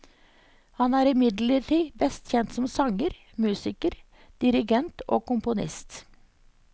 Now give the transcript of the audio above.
Han er imidlertid best kjent som sanger, musiker, dirigent og komponist.